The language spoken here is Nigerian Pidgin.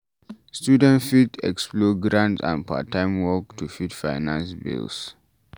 Student fit explore grants and part time work to fit finance bills